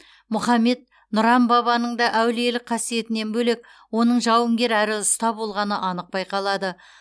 мұхаммед нұран бабаның да әулиелік қасиетінен бөлек оның жауынгер әрі ұста болғаны анық байқалады